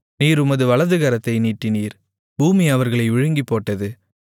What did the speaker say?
நீர் உமது வலதுகரத்தை நீட்டினீர் பூமி அவர்களை விழுங்கிப்போட்டது